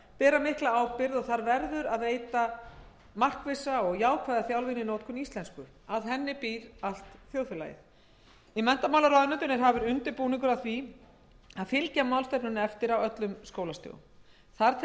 háskólar ber mikla ábyrgð og þar verður að veita markvissa og jákvæða þjálfun í notkun íslensku að henni býr allt þjóðfélagið í menntamálaráðuneytinu er hafin undirbúningur að því að fylgja málstefnunni eftir á öllum skólastigum þar tel